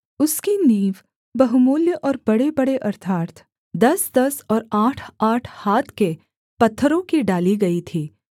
उसकी नींव बहुमूल्य और बड़ेबड़े अर्थात् दसदस और आठआठ हाथ के पत्थरों की डाली गई थी